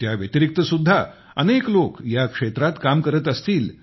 त्या व्यतिरिक्त सुद्धा अनेक लोक या क्षेत्रात काम करत असतील